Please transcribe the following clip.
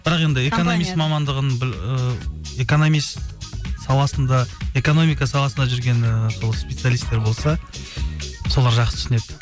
бірақ енді экономист мамандығын ыыы экономист саласында экономика саласында жүрген ііі сол специалистер болса солар жақысы түсінеді